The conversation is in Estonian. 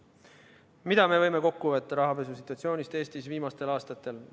Mida me võime kokku võtta rahapesu situatsioonist Eestis viimastel aastatel?